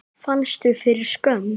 Fannstu fyrir skömm?